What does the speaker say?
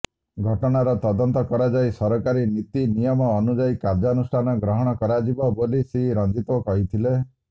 ଘଟଣାର ତଦନ୍ତ କରାଯାଇ ସରକାରୀ ନୀତି ନିୟମ ଅନୁଯାୟୀ କାର୍ଯ୍ୟାନୁଷ୍ଠାନ ଗ୍ରହଣ କରାଯିବ ବୋଲି ଶ୍ରୀ ରଞ୍ଜିତୋ କହିଥିଲେ